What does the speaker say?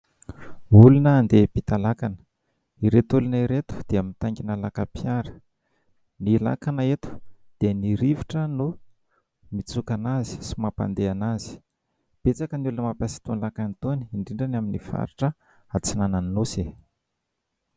Olona andeha hiampita lakana. Ireto olona ireto dia mitangina lakam-piara. Ny lakana eto dia ny rivotra no mitsoka anazy sy mampandeha anazy. Betsaka ny olona mampiasa itony lakana itony indrindra ny amin'ny faritra atsinanan'ny nosy.